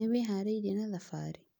Nĩwĩharĩirie na thabarĩ?